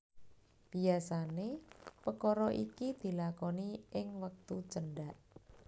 Biasané pekara iki dilakoni ing wektu cendhak